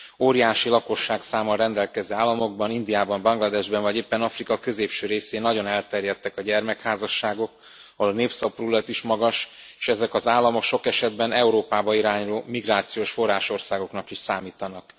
Óriási lakosságszámmal rendelkező államokban, Indiában, Bangladesben vagy éppen Afrika középső részén nagyon elterjedtek a gyermekházasságok, ahol a népszaporulat is magas, és ezek az államok sok esetben Európába irányuló migrációs forrásországoknak is számítanak.